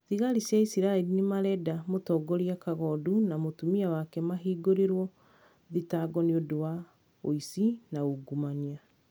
Thigari cia isiraĩri nĩmarenda mũtongoria kagondu na mũtumia wake mahingũrĩrwo thitango nĩũndũ wa ũici na ungumania